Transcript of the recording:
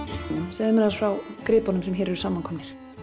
segðu mér aðeins frá gripunum sem hér eru samankomnir